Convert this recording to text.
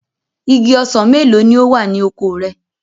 Igi ọsàn mélòó ni ó wà oko rẹ?